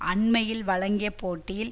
அண்மையில் வழங்கிய பேட்டியில்